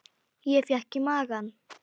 Ég fékk í magann.